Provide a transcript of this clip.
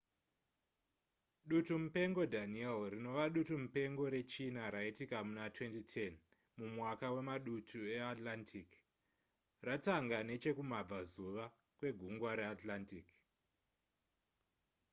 dutumupengo danielle rinova dutumupengo rechina raitika muna 2010 mumwaka wemaduti eatlantic ratanga nechekumabvazuva kwegungwa reatlantic